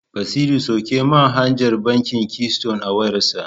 Basiru sauke manhajar bankin Keyston a wayarsa.